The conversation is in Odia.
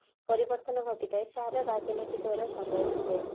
ପରିବର୍ତନ ଘଟି ଥାଏ ତାହା ରାଜନୀତି ଦ୍ଵାରା ସମ୍ଭବ ହୁଏ